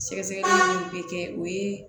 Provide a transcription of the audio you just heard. Sɛgɛsɛgɛli minnu bɛ kɛ o ye